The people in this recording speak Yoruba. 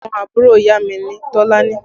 Ọmọ àbúrò ìyá mi ni Tolani